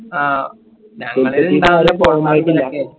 അഹ് ഞങ്ങള് ഇണ്ടവല്